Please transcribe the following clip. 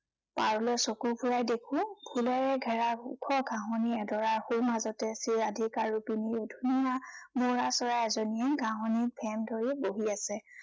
পাৰলে চক ফুৰাই দেখো ফুলেৰে ঘেৰা ওখ ঘাঁহনি এডৰাৰ সোঁমাজতে শ্ৰীৰিধিকা ৰূপী ধুনীয়া মৌৰা চৰাই এজনীয়ে ঘাঁহনিত ভেম ধৰি বহি আছে।